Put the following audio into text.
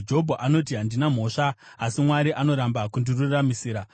“Jobho anoti, ‘Handina mhosva, asi Mwari anoramba kundiruramisira.